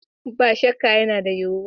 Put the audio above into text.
Ba shakka, yana yiwuwa